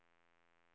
Björkvik